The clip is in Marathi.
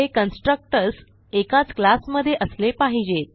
हे कन्स्ट्रक्टर्स एकाच क्लास मधे असले पाहिजेत